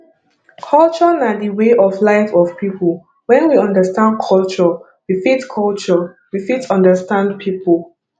culture na di way of life of pipo when we understand culture we fit culture we fit understand pipo